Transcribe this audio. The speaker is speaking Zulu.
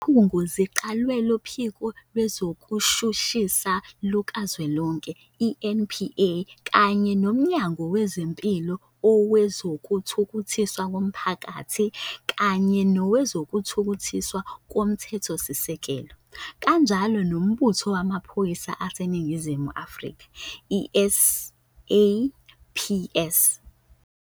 Izikhungo ziqalwe Luphiko Lwezokushushisa Lukazwelonke, i-NPA, kanye nMnyango wezeMpilo, Owezo kuthuthukiswa Komphakathi kanye nowezokuThuthukiswa koMthethosisekelo, kanjalo noMbutho Wamaphoyisa aseNingizimu Afrika, i-SAPS.